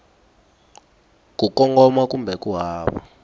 ku kongoma kumbe ku hava